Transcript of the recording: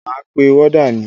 Máa pe wọ́dà ni.